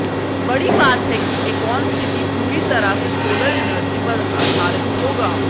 बड़ी बात है कि एकॉन सिटी पूरी तरह से सोलर एनर्जी पर आधारित होगा